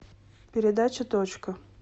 передача точка